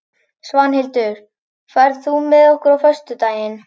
Svanhildur, ferð þú með okkur á föstudaginn?